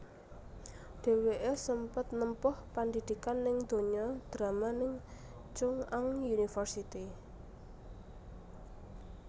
Dhèwèké sempet nempuh pandidikan ning donya drama ning Chung Ang University